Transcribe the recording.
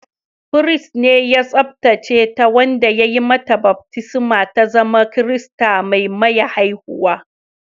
Firist ne ya tsabtace ta, wanda ya yi mata baftisma ta zama Kirista mai maya haihuwa